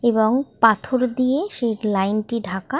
এবং পাথর দিয়ে সেই লাইন টি ঢাকা ।